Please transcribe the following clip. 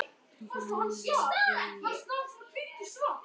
Bein lína